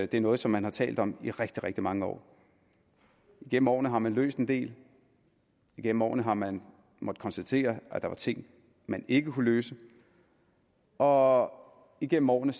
det er noget som man har talt om i rigtig rigtig mange år igennem årene har man løst en del igennem årene har man måttet konstatere at der var ting man ikke kunne løse og igennem årene